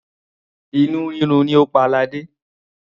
Inú rírun ni ó pa ladé.